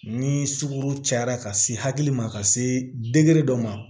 Ni sukoro cayara ka se hakili ma ka se degere dɔ ma